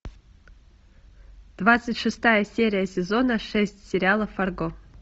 двадцать шестая серия сезона шесть сериала фарго